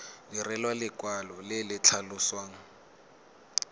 direlwa lekwalo le le tlhalosang